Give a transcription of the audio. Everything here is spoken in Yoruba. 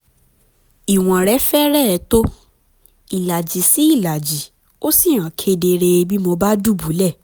ìwọ̀n rẹ̀ fẹ́rẹ̀ẹ́ tó ìlàjì sí ìlàjì ó sì hàn kedere bí mo bá dùbúlẹ̀